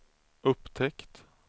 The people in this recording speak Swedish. upptäckt